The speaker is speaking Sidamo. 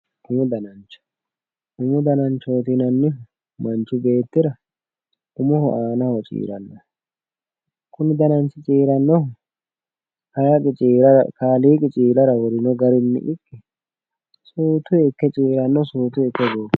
umu danancho, umu dananchooti yinannihu manchi beettira umoho aanaho ciirannoho kuni dananchi ciirannohu kaaliiqi ciirara wore gedenni ikke suutu ikke ciiranno suutu ikke goofanno.